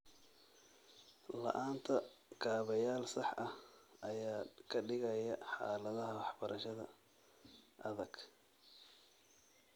La'aanta kaabayaal sax ah ayaa ka dhigaya xaaladaha waxbarashada adag.